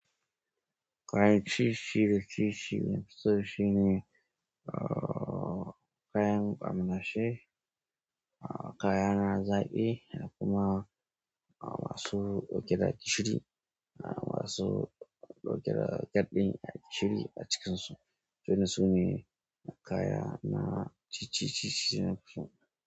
Kayan ci shi da ci shi, da nafi so shine, kayan kwamalashe, kaya na zaƙi, da kuma masu ɗauke gishiri, masu ɗauke da ɗan gishiri a cikin su. Irin su ne kaya na ci, ci, ci, ci da nafi so.